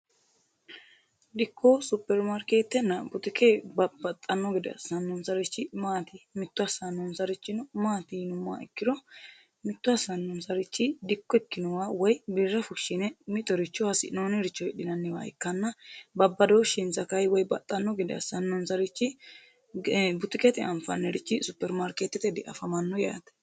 Dikko, superimaarikeetenna butuke babaxano asanonsarichi maati? mitto asanonsarihino mati yinumoha ikiro mitto asanonsari dikko ikinohura woyi birra fushine mittoricho hasi'nooniricho hasi'nooniricho hidhinanniwa ikanna babadooshinsa kayi woyi baxano gede asanonsarichi butukete afanirichi superimaarikeetete dafammano yaate.